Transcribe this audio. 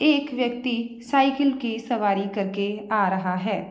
एक व्यक्ति साइकिल की सवारी करके आ रहा है।